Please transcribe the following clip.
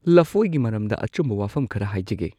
ꯂꯐꯣꯏꯒꯤ ꯃꯔꯝꯗ ꯑꯆꯨꯝꯕ ꯋꯥꯐꯝ ꯈꯔ ꯍꯥꯏꯖꯒꯦ꯫